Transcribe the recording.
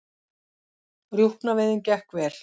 Rjúpnaveiðin gekk vel